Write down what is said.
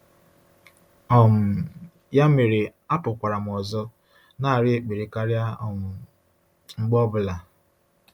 um Ya mere, apụkwara m ọzọ, na-arịọ ekpere karịa um mgbe ọ bụla.